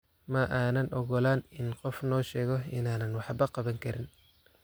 Ma aanan ogolaan in qofna noo sheego inaanan waxba qaban karin.